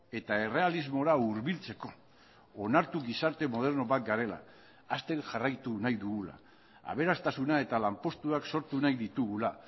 eta errealismora hurbiltzeko onartu gizarte moderno bat garela hazten jarraitu nahi dugula aberastasuna eta lanpostuak sortu nahi ditugula